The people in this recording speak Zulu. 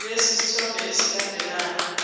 lesi sithombe esilandelayo